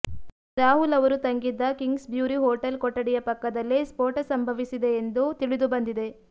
ರಾಹುಲ್ ಅವರು ತಂಗಿದ್ದ Kingsbury hotel ಕೊಠಡಿಯ ಪಕ್ಕದಲ್ಲೇ ನ್ಪೋಟ ಸಂಭವಿಸಿದೆ ಎಂದು ತಿಳಿದು ಬಂದಿದೆ